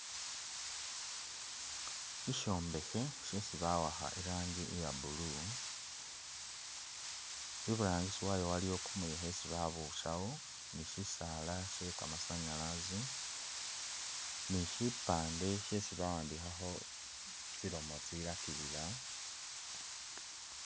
Ishombekhe shesi bawakha iranji iya blue , iburangisi wayo waliyo kumuyekhe isi babusawo ni shisala shee kamasanyalazi ni shipande shesi bawandikhakho tsilomo tsilakilila